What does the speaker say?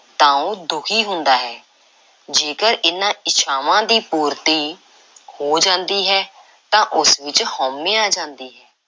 ਤਾਂ ਉਹ ਦੁਖੀ ਹੁੰਦਾ ਹੈ ਤੇ ਜੇਕਰ ਇਹਨਾਂ ਇੱਛਾਵਾਂ ਦੀ ਪੂਰਤੀ ਹੋ ਜਾਂਦੀ ਹੈ ਤਾਂ ਉਸ ਵਿੱਚ ਹਉਮੈ ਆ ਜਾਂਦੀ ਹੈ,